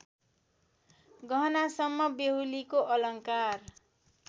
गहनासम्म बेहुलीको अलङ्कार